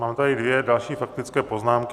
Mám tady další dvě faktické poznámky.